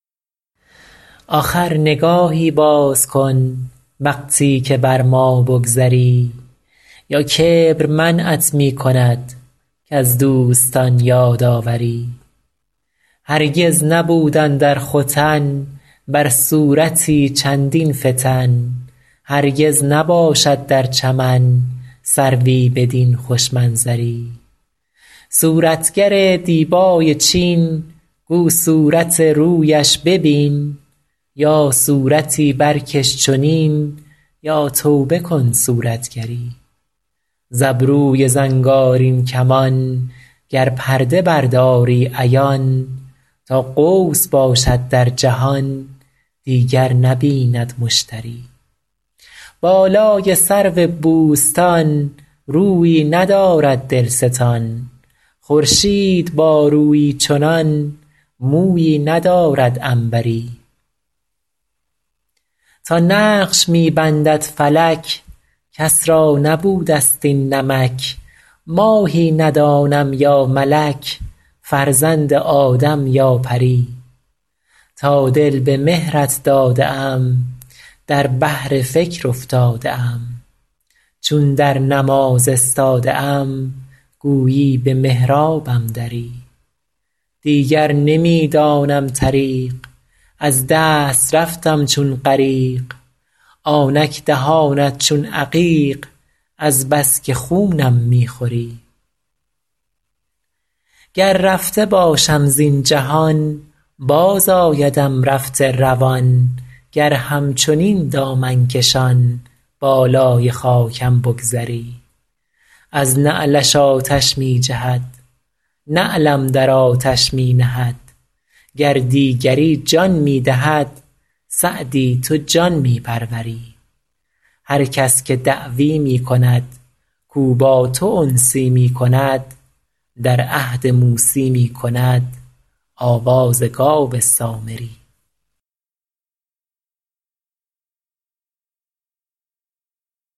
آخر نگاهی باز کن وقتی که بر ما بگذری یا کبر منعت می کند کز دوستان یاد آوری هرگز نبود اندر ختن بر صورتی چندین فتن هرگز نباشد در چمن سروی بدین خوش منظری صورتگر دیبای چین گو صورت رویش ببین یا صورتی برکش چنین یا توبه کن صورتگری ز ابروی زنگارین کمان گر پرده برداری عیان تا قوس باشد در جهان دیگر نبیند مشتری بالای سرو بوستان رویی ندارد دلستان خورشید با رویی چنان مویی ندارد عنبری تا نقش می بندد فلک کس را نبوده ست این نمک ماهی ندانم یا ملک فرزند آدم یا پری تا دل به مهرت داده ام در بحر فکر افتاده ام چون در نماز استاده ام گویی به محرابم دری دیگر نمی دانم طریق از دست رفتم چون غریق آنک دهانت چون عقیق از بس که خونم می خوری گر رفته باشم زین جهان بازآیدم رفته روان گر همچنین دامن کشان بالای خاکم بگذری از نعلش آتش می جهد نعلم در آتش می نهد گر دیگری جان می دهد سعدی تو جان می پروری هر کس که دعوی می کند کاو با تو انسی می کند در عهد موسی می کند آواز گاو سامری